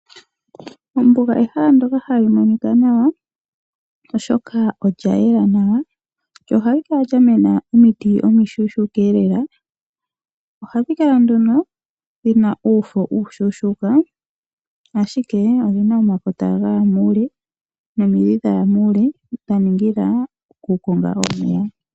Ombuga ehala ndyoka ha li monika nawa oshoka olya yela nawa lyo oha li kala lya mena omiti omishuushuka lela nohadhi kala dhina uufo uushushuka ashike odhi na omakota gaya muule nomidhi dha ya muule dha ningila okukonga omeya.